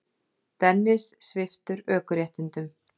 Dennis sviptur ökuréttindum